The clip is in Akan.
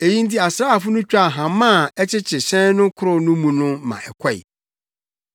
Eyi nti asraafo no twaa hama a ɛkyekye hyɛn no korow no mu no ma ɛkɔe.